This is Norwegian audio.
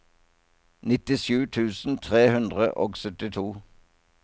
nittisju tusen tre hundre og syttito